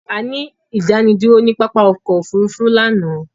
A ní ìdánidúró ni pápá ọkọ òfúrúúfú lánàá